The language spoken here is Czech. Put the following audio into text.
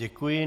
Děkuji.